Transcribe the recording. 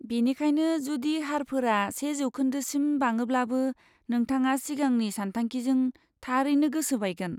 बेनिखायनो, जुदि हारफोरा से जौखोन्दोसिम बाङोब्लाबो नोंथाङा सिगांनि सानथांखिजों थारैनो गोसो बायगोन।